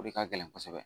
O de ka gɛlɛn kosɛbɛ